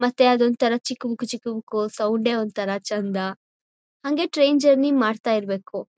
ಮತ್ತೆ ಅದೊಂದ್ ಥರ ಚಿಕು ಬುಕು ಚಿಕು ಬುಕು ಸೌಂಡ್ ಡೇ ಒಂತರ ಚಂದ ಹಂಗೆ ಟ್ರೈನ್ ಜರ್ನಿ ಮಾಡ್ತಾ ಇರ್ಬೇಕು